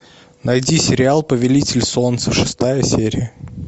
найди сериал повелитель солнца шестая серия